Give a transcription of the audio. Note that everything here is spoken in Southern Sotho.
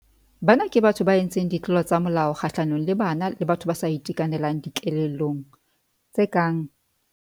Bana ke batho ba entseng ditlolo tsa molao kgahlanong le bana le batho ba sa itekanelang dikelellong, tse kang.